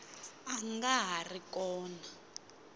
a nga ha ri kona